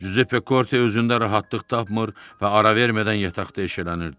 Cüzeppe Korte özündə rahatlıq tapmır və ara vermədən yataqda eşələnirdi.